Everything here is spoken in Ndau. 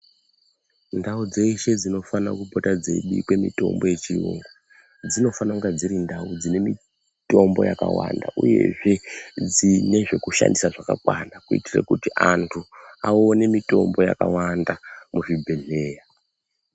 Ndau dzeshe dzinofane kupota dzeibikwe mitombo yechiyungu ,dzinofana kunga dziri ndau dzine mitombo yakawanda, uyezve dzine zvekushandisa zvakakwana, kuitire kuti antu aone mitombo yakawanda muzvibhedhleya.